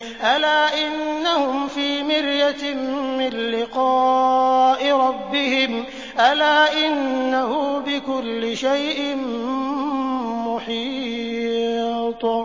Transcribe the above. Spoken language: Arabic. أَلَا إِنَّهُمْ فِي مِرْيَةٍ مِّن لِّقَاءِ رَبِّهِمْ ۗ أَلَا إِنَّهُ بِكُلِّ شَيْءٍ مُّحِيطٌ